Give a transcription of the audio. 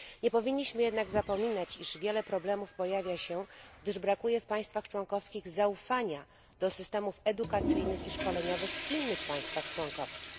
Nie powinniśmy jednak zapominać, iż wiele problemów pojawia się, gdyż brakuje w państwach członkowskich zaufania do systemów edukacyjnych i szkoleniowych w innych państwach członkowskich.